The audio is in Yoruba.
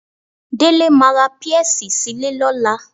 Délé máa ra pẹ́ẹ́sì sí ilé lọ́la